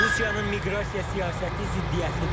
Rusiyanın miqrasiya siyasəti ziddiyyətlidir.